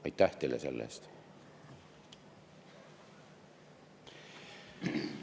Aitäh teile selle eest!